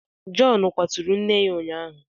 Jọn kwaturu nne ya ụnyaahụ.